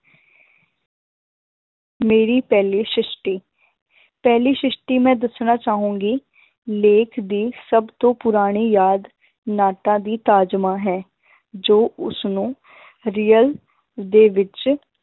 ਮੇਰੀ ਪਹਿਲੀ ਸਿਸ਼ਟੀ ਪਹਿਲੀ ਸਿਸ਼ਟੀ ਮੈਂ ਦੱਸਣਾ ਚਾਹਾਂਗੀ ਲੇਖ ਦੀ ਸਭ ਤੋਂ ਪੁਰਾਣੀ ਯਾਦ ਨਾਟਾਂ ਦੀ ਤਾਜਮਾਂ ਹੈ ਜੋ ਉਸਨੂੰ real ਦੇ ਵਿੱਚ